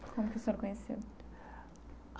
Como que o senhor conheceu?